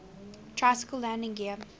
tricycle landing gear